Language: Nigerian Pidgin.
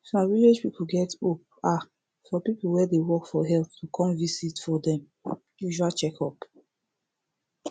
some village get hope ah for people wey dey work for health to come visit for dem usual checkup